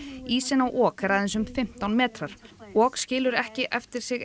ísinn á ok er aðeins um fimmtán metrar ok skilur ekki eftir sig